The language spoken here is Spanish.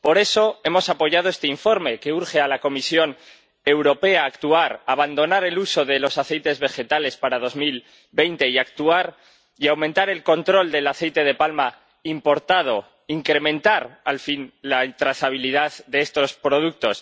Por eso hemos apoyado este informe que urge a la Comisión Europea a actuar, a abandonar el uso de los aceites vegetales para 2020 y a aumentar el control del aceite de palma importado, a incrementar al fin la trazabilidad de estos productos.